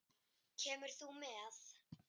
Kemur þú með?